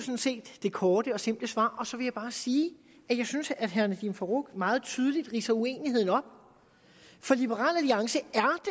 set det korte og simple svar så vil jeg bare sige at jeg synes herre nadeem farooq meget tydeligt ridser uenigheden op for liberal alliance